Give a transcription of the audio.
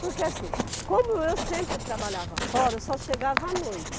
Porque assim, como eu sempre trabalhava fora, eu só chegava à noite.